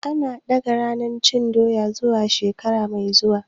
An ɗaga ranar cin Doya zuwa shekara mai zuwa.